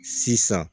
Sisan